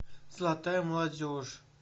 золотая молодежь